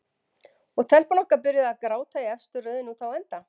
Og telpan okkar byrjuð að gráta í efstu röðinni úti á enda.